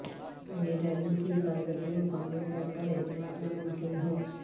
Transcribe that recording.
میں نے ڈرائیونگ کی حفاظت میں مکمل طور پر اعتماد ناممکن ہوں